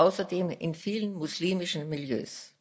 außerdem in vielen muslimischen Milieus.